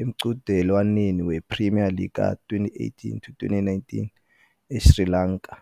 emqhudelwaneni wePremier League ka -2018-19 eSri Lanka.